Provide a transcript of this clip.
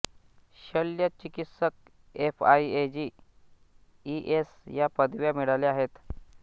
शल्य चिकित्सक F I A G E S या पदव्या मिळवल्या आहेत